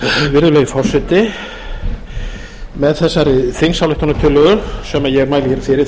virðulegi forseti með þessari þingsályktunartillögu sem ég mæli hér fyrir